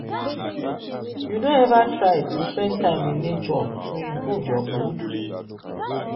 you don ever try to spend time in nature to improve your mood?